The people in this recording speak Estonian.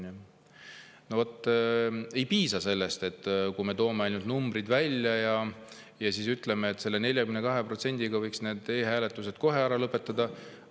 Aga vot ei piisa sellest, et me toome numbrid välja ja ütleme, et selle 42% peale võiks e-hääletuse kohe ära lõpetada.